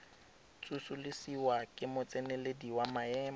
tsosolosiwa ke motseneledi wa maemo